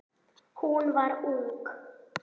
Hún var ung.